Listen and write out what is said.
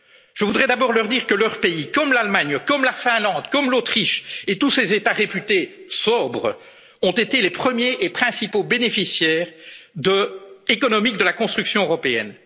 eux. Je voudrais d'abord leur dire que leur pays, comme l'Allemagne, comme la Finlande, comme l'Autriche et tous ces États réputés sobres, ont été les premiers et principaux bénéficiaires économiques de la construction